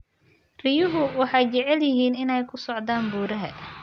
Riyuhu waxay jecel yihiin inay ku socdaan buuraha.